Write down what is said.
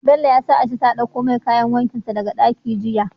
Bello ya sa aishi ta ɗakko mai kayan wankin sa daka ɗaki jiya